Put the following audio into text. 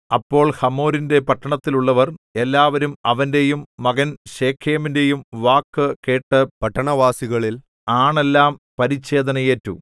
അപ്പോൾ ഹമോരിന്റെ പട്ടണത്തിലുള്ളവർ എല്ലാവരും അവന്റെയും മകൻ ശെഖേമിന്റെയും വാക്കു കേട്ടു പട്ടണവാസികളിൽ ആണെല്ലാം പരിച്ഛേദന ഏറ്റു